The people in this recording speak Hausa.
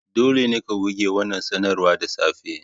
Dole ne ka goge wannan sanarwar da safe!